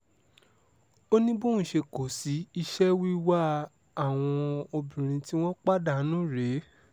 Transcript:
ó ní bóun ṣe kó sí iṣẹ́ wíwá àwọn obìnrin tí wọ́n ń pa dànù rèé